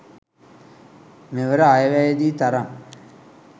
මෙවර අයවැයේදී තරම්